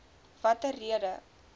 watter rede